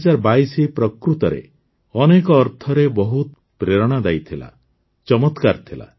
୨୦୨୨ ପ୍ରକୃତରେ ଅନେକ ଅର୍ଥରେ ବହୁତ ପ୍ରେରଣାଦାୟୀ ଥିଲା ଚମତ୍କାର ଥିଲା